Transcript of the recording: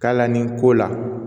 K'a la nin ko la